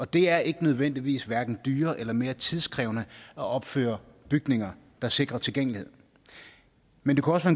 det er ikke nødvendigvis dyrere eller mere tidkrævende at opføre bygninger der sikrer tilgængelighed men det kunne også